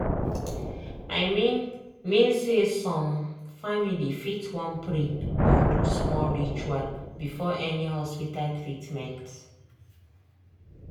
i mean mean say some family fit wan pray or do small ritual before any hospita treatment